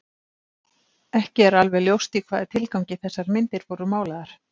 Ekki er alveg ljóst í hvaða tilgangi þessar myndir voru málaðar.